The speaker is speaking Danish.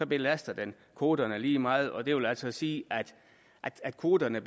belaster den kvoterne lige meget det vil altså sige at kvoterne